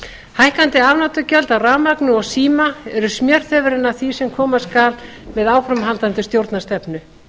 hækkandi afnotagjöld af rafmagni og síma eru smjörþefurinn af því sem koma skal með áframhaldandi stjórnarstefnu